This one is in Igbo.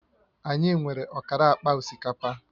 Anyị nwere ọkara akpa osikapa